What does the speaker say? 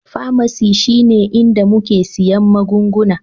Pharmacy shine inda muke siyan magunguna